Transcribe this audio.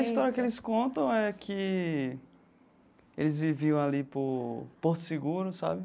A história que eles contam é que eles viviam ali por Porto Seguro, sabe?